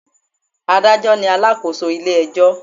Adájọ́ ni alakoso ilé ẹjọ́